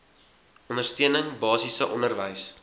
ondersteuning basiese onderwys